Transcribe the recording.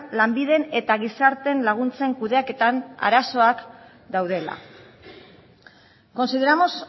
lanbiden eta gizarteen laguntzen kudeaketan arazoak daudela consideramos